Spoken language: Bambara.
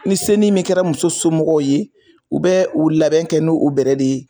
Ni senin min kɛra muso somɔgɔw ye u bɛ u labɛn kɛ nu u bɛrɛ de ye.